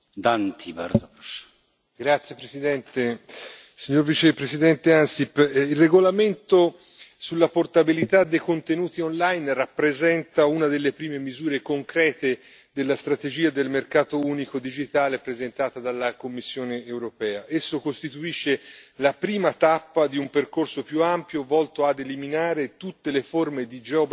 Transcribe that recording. Signor Presidente, onorevoli colleghi, signor Vicepresidente Ansip, il regolamento sulla portabilità dei contenuti online rappresenta una delle prime misure concrete della strategia del mercato unico digitale presentata dalla Commissione europea. Esso costituisce la prima tappa di un percorso più ampio, volto a eliminare tutte le forme di geoblocco